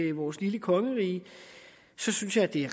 i vores lille kongerige så synes jeg at det